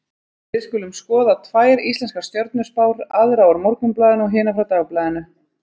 Við skulum skoða tvær íslenskar stjörnuspár, aðra úr Morgunblaðinu og hina frá Dagblaðinu.